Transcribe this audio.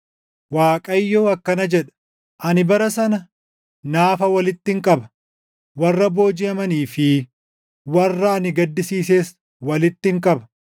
Waaqayyo akkana jedha; “Ani bara sana naafa walittin qaba; warra boojiʼamanii fi warra ani gaddisiises walittin qaba.